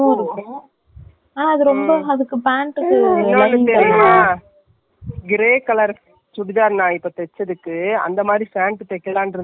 pant தைக்கலானு இருந்துட்டு எல்லாத்தயும் பார்த்துகிட்டு இருந்துட்டு அடுத்தநாள் function க்கு போறதா .